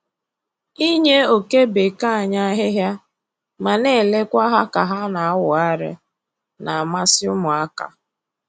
Inye oke bekee anyị ahịhịa ma na-elekwa ha ka ha na-awụgharị na-amasị ụmụaka